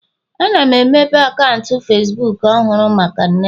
Ana m emepe akaụntụ Facibuku ọhụrụ maka nne m